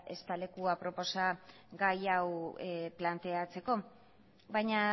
ez da leku aproposa gai hau planteatzeko baina